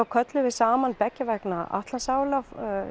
kölluðum við saman beggja vegna Atlantsála